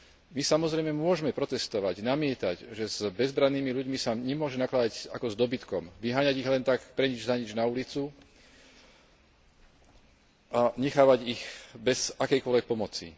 My, samozrejme, môžme protestovať, namietať, že s bezbrannými ľuďmi sa nemôže nakladať ako s dobytkom, vyháňať ich len tak, pre nič za nič na ulicu a nechávať ich bez akejkoľvek pomoci.